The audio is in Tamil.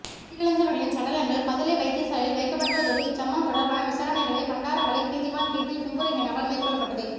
உயிரிழந்தவர்களின் சடலங்கள் பதுளை வைத்தியசாலையில் வைக்கப்பட்டுள்ளதோடு இச்சம்பவம் தொடர்பான விசாரணைகளை பண்டாரவளை நீதவான் கீர்த்தி கும்புருஹேனவால் மேற்கொள்ளப்பட்டது